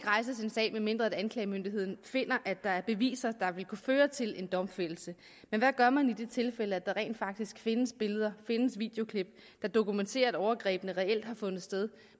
rejses en sag medmindre anklagemyndigheden finder at der er beviser der vil kunne føre til en domfældelse men hvad gør man i de tilfælde der rent faktisk findes billeder eller videoklip der dokumenterer at overgrebene reelt har fundet sted